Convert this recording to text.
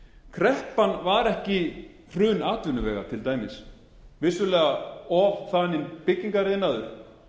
kreppan var ekki hrun atvinnuvega til dæmis vissulega ofþaninn byggingariðnaður